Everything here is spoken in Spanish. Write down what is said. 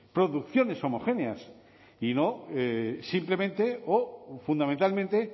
producciones homogéneas y no simplemente o fundamentalmente